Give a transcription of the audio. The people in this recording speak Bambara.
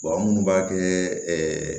an munnu b'a kɛ